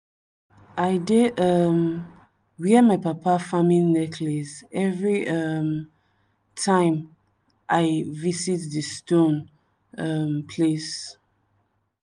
i dey um wear my papa farming necklace every um time i visit di stone um place.